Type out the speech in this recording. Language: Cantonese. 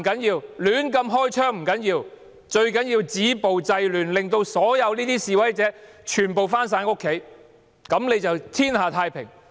最要緊的是止暴制亂，令所有示威者回家，這樣便天下太平。